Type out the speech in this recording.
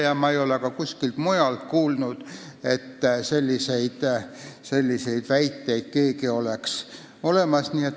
Ja ma ei ole ka kuskilt mujalt, kelleltki teiselt selliseid väiteid kuulnud.